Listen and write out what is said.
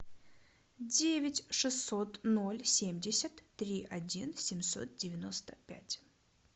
девять шестьсот ноль семьдесят три один семьсот девяносто пять